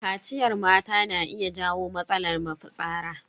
Kaciyar mata na iya jawo matsalar mafitsara.